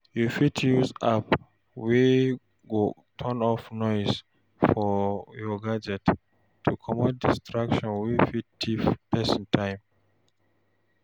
You fit use app wey go turn off noise for your gadget, to comot distraction wey fit thief person time